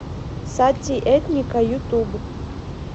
сати этника ютуб